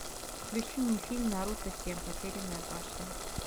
включи мне фильм наруто семь потерянная башня